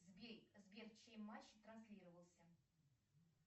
сбер чей матч транслировался